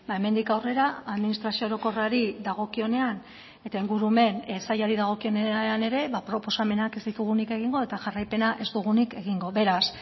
hemendik aurrera administrazio orokorrari dagokionean eta ingurumen sailari dagokionean ere proposamenak ez ditugunik egingo eta jarraipena ez dugunik egingo beraz